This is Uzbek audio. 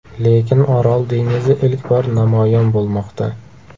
Lekin Orol dengizi ilk bor namoyon bo‘lmoqda.